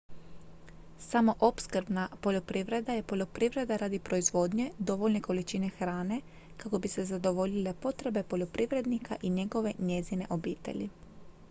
samoopskrbna poljoprivreda je poljoprivreda radi proizvodnje dovoljne količine hrane kako bi se zadovoljile potrebe poljoprivrednika i njegove/njezine obitelji